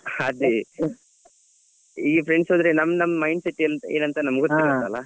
ಅದೆ ಈ friends ಆದ್ರೆ ನಮ್ ನಮ್ mind set ಎ~ ಏನಂತ ನಮ್ಗೆ ಗೊತಿರುತ್ತಲಾ.